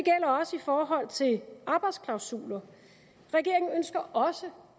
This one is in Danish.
forhold til arbejdsklausuler regeringen ønsker også